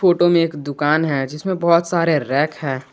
Photo में एक दुकान है जिसमें बहोत सारे रैक है।